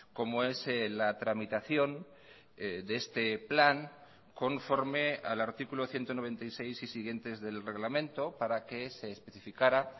como es la tramitación de este plan conforme al artículo ciento noventa y seis y siguientes del reglamento para que se especificara